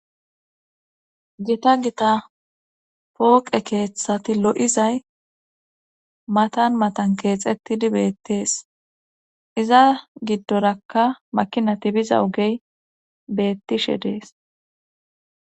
gita gita pooqe keeththati lo7izay matan matan keexettidi beettees iza giddorakka makinati biza ogey beettishe dees